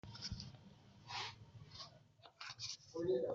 Ba kasafai nake samun kuraje a fuskata ba